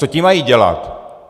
Co ti mají dělat?